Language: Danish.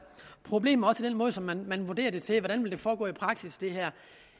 problemer med den måde som man vurderer det til at ville foregå på i praksis